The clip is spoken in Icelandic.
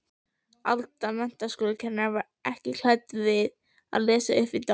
Alda menntaskólakennari ekki klædd að lesa uppvið dogg.